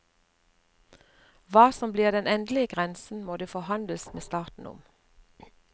Hva som blir den endelige grensen, må det forhandles med staten om.